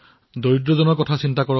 ঈশ্বৰৰ কৃপাত কুশলে থাকক